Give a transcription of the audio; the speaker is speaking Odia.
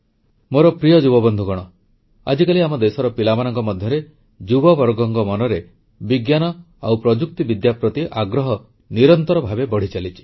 ମୋର ପ୍ରିୟ ଯୁବ ବନ୍ଧୁଗଣ ଆଜିକାଲି ଆମ ଦେଶର ପିଲାମାନଙ୍କ ମଧ୍ୟରେ ଯୁବବର୍ଗଙ୍କ ମନରେ ବିଜ୍ଞାନ ଓ ପ୍ରଯୁକ୍ତିବିଦ୍ୟା ପ୍ରତି ଆଗ୍ରହ ନିରନ୍ତର ଭାବେ ବଢ଼ିଚାଲିଛି